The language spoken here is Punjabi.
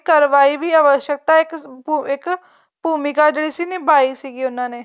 ਕਰਵਾਈ ਅਵੱਸਕਤਾ ਇੱਕ ਭੂਮਿਕਾ ਜਿਹੜੀ ਸੀ ਨਿਭਾਈ ਸੀਗੀ ਉਹਨਾ ਨੇ